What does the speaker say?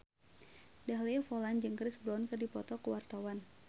Dahlia Poland jeung Chris Brown keur dipoto ku wartawan